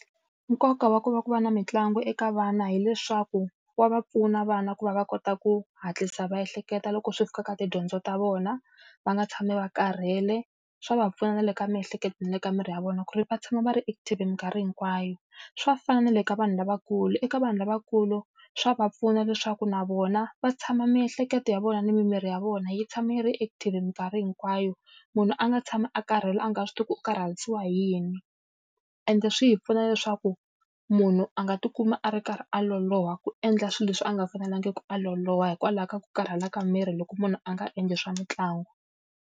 Nkoka wa ku va ku va na mitlangu eka vana hileswaku wa va pfuna vana ku va va kota ku hatlisa va ehleketa loko swi fika ka tidyondzo ta vona, va nga tshami va karhele. Swa va pfuna na le ka miehleketo na le ka miri ya vona ku ri va tshama va ri active minkarhi hinkwayo. Swa fana na le ka vanhu lavakulu. Eka vanhu lavakulu swa va pfuna leswaku na vona va tshama miehleketo ya vona ni mimirhi ya vona yi tshama yi ri active minkarhi hinkwayo, munhu a nga tshami a karhele a nga swi tivi ku karharisiwa hi yini. Ende swi hi pfuna leswaku munhu a nga ti kumi a ri karhi a loloha ku endla swilo leswi a nga fanelangi ku a loloha hikwalaho ka ku karhala ka miri loko munhu a nga endli swa mitlangu.